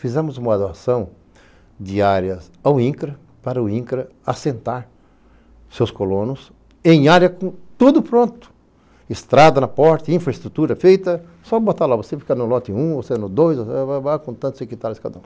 Fizemos uma adoção de áreas ao INCRA, para o INCRA assentar seus colonos em área com tudo pronto, estrada na porta, infraestrutura feita, só botar lá, você fica no lote um, você no dois, com tantos secretários cada um.